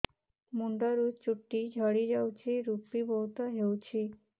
ମୁଣ୍ଡରୁ ଚୁଟି ଝଡି ଯାଉଛି ଋପି ବହୁତ ହେଉଛି